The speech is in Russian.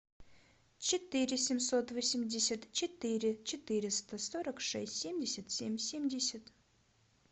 четыре семьсот восемьдесят четыре четыреста сорок шесть семьдесят семь семьдесят